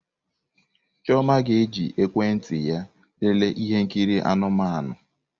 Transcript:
Chioma ga-eji ekwentị ya lelee ihe nkiri anụmanụ.